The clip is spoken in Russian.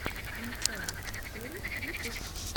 инсейн черри ютуб